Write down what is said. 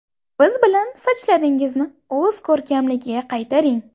Biz bilan sochlaringizni o‘z ko‘rkamligiga qaytaring!